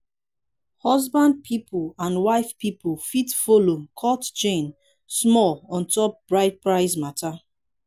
husband pipol and wife pipol fit follow "cut chain" small onto bride price mata